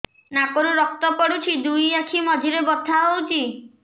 ନାକରୁ ରକ୍ତ ପଡୁଛି ଦୁଇ ଆଖି ମଝିରେ ବଥା ହଉଚି